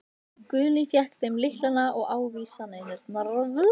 Guðni fékk þeim lyklana og ávísanirnar.